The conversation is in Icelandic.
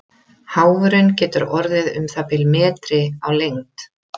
Háfurinn getur orðið um það bil metri á lengd.